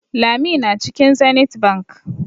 Lami na cikin Zenith Bank.